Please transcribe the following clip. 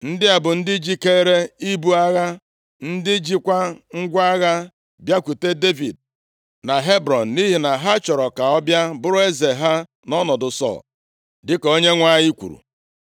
Ndị a bụ ndị jikeere ibu agha, ndị chịkwa ngwa agha bịakwute Devid na Hebrọn, nʼihi na ha chọrọ ka ọ bịa bụrụ eze ha nʼọnọdụ Sọl, dịka Onyenwe anyị kwuru.